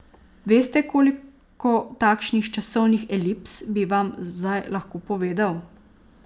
Veste, koliko takšnih časovnih elips bi vam zdaj lahko povedal?